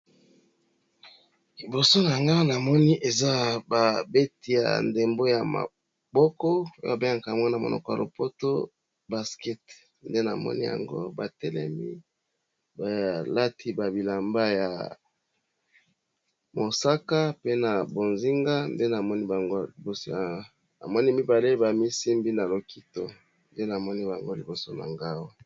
Liboso na nga namoni eza ba beti ya ndembo ya maboko oye ba bengaka mwa na monoko ya lopoto baskete nde na moni yango ba telemi ba lati ba bilamba ya mosaka pe na bozinga namoni mibale ba misimbi na loketo nde namoni bango liboso na nga.